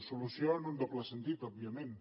solució en un doble sentit òbviament